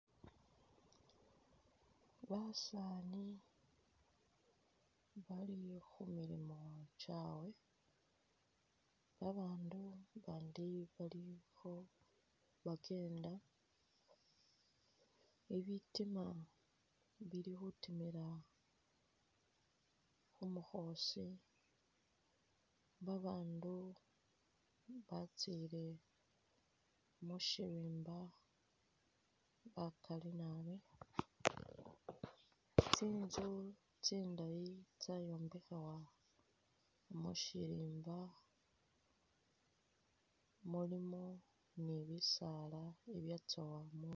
Basani bali khumilimo kyawe , babandu abandi balikho bakenda ,ibitima bilikhutimila khumukhosi babandu batsile mushirimba bakali nabi , tsinzu tsindayi tsayombekhewa mushirimba mulino nibisala ibyatsowamo